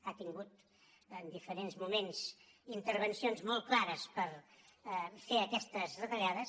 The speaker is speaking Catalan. ha tingut en diferents moments intervencions molt clares per fer aquestes retallades